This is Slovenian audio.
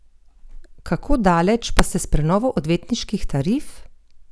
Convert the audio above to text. Kako daleč pa ste s prenovo odvetniških tarif?